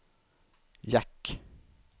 jack